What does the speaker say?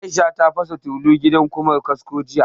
Aisha ta fasa tulu a gidan Ƙumar kasko jiya